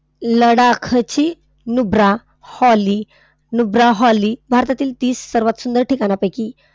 लडाखची Nubra valley Nubra valley भारतातील तीस सर्वात सुंदर ठिकाणांपैकी,